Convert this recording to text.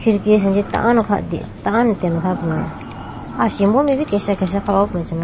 Khidki asenji tando kha tando atene kha ho puma asimbo mai bi kesha kesha kha ho puma.